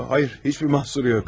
Yox, hayır, heç bir mahsur yox.